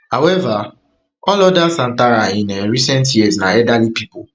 however all oda santhara in um recent years na elderly pipo